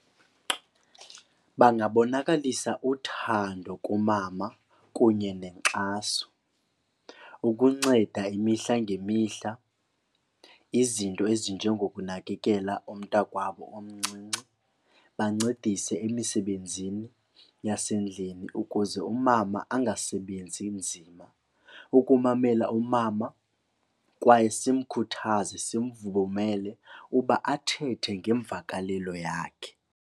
Bangabonakalisa uthando kumama kunye nenkxaso ukunceda imihla ngemihla izinto ezinjengokunakekela umntakwabo omncinci, bancedise emisebenzini yasendlini ukuze umama angasebenzi nzima. Ukumamela umama kwaye simkhuthaze, simvumele uba athethe ngemvakalelo yakhe.